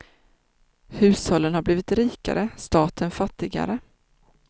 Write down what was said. Hushållen har blivit rikare, staten fattigare.